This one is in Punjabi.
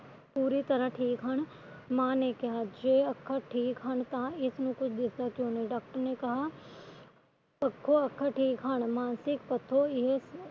ਪੂਰੀ ਤਰਾਂ ਠੀਕ ਹਨ ਮਾ ਨੇ ਕਿਹਾ ਜੇ ਅੱਖਾ ਠੀਕ ਹਨ ਤਾ ਇਸਨੂੰ ਕੁਝ ਦਿਸਦਾ ਕਿਉ ਨਹੀਂ doctor ਨੇ ਕਿਹਾ ਉਤੋ ਅੱਖਾ ਠੀਕ ਹਨ ਮਾਨਸਿਕ ਪੱਖੋਂ ਇਹ